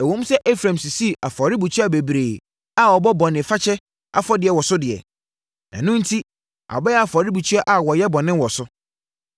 “Ɛwom sɛ Efraim sisii afɔrebukyia bebree a wɔbɔ bɔne fakyɛ afɔdeɛ wɔ so deɛ, ɛno enti abɛyɛ afɔrebukyia a wɔyɛ bɔne wɔ so.